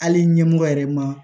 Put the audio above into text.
Hali ɲɛmɔgɔ yɛrɛ ma